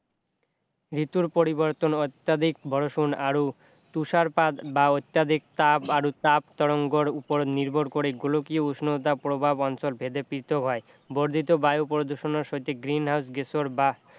ঋতুৰ পৰিৱৰ্তন অত্যধিক বৰষুণ আৰু তুষাৰপাত বা অত্যধিক তাপ আৰু তাপ-তৰংগৰ উপৰত নিৰ্ভৰ কৰে গোলকীয় উষ্ণতা প্ৰভাৱ অঞ্চল ভেদে পৃথক হয় বৰ্ধিত বায়ু প্ৰদূষণৰ সৈতে green house গেছৰ বা